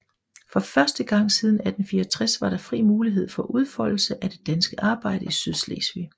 For første gang siden 1864 var der fri mulighed for udfoldelse af det danske arbejde i Sydslesvig